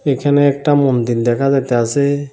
এখানে একটা মন্দির দেখা যাইতাসে।